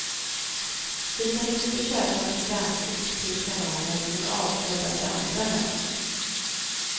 Du kan inte köpa programkort till kanaler som är avsedda för andra länder.